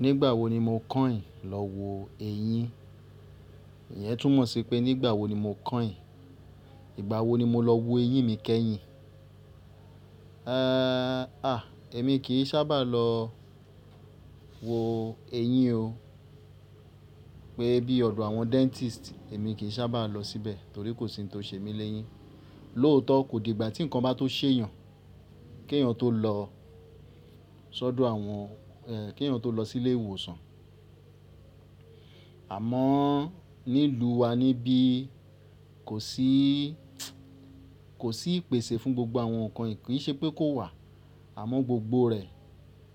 Nígbà wo ni mo kàn ìn lọ wo eyín? Ìyẹn túmọ̀ sí pé nígbà wo ni mo kàn ìn? Ìgbà wo ni mo lọ wo eyín mi kẹ́yìn? Ee, à, èmi kì í sábà lọ wo eyín o. Pé bí ọ̀dọ̀ àwọn dentist, èmi kì í sábà lọ síbẹ̀ torí kò sí ohun tó ṣe mí léyín. Lóòótọ́, kò di ìgbà tí nǹkan bá tó ṣè eeyàn kí èèyàn tó lọ sọ́dọ̀ àwọn, ẹ, kí èèyàn tó lọ sí ilé ìwòsàn. Àmọ́ nílùú wa níbí kò sí, kò sí ìpèsè fún gbogbo àwọn nǹkan ìkínṣẹ́ pé kó wà. Àmọ́ gbogbo rẹ̀